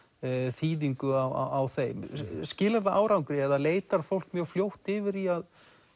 þýðingu á þeim skilar það árangri eða leitar fólk mjög fljótt yfir í að